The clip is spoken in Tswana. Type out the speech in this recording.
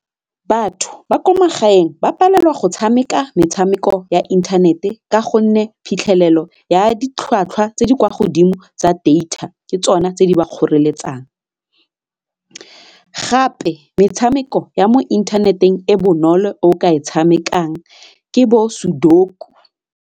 Batho ba kwa magaeng ba palelwa go tshameka metshameko ya inthanete ka gonne phitlhelelo ya ditlhwatlhwa tse di kwa godimo tsa data ke tsona tse di ba kgoreletsang, gape metshameko ya mo inthaneteng e bonolo o ka e tshamekang ke bo SUDOKU.